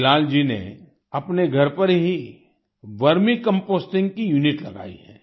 बिलाल जी ने अपने घर पर ही वर्मी कंपोस्टिंग की यूनिट लगाई है